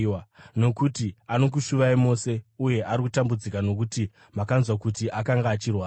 Nokuti anokushuvai mose uye ari kutambudzika nokuti makanzwa kuti akanga achirwara.